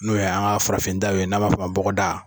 N'o ye an ka farafin daaw ye n'a b'a fo ma ko bɔgɔda.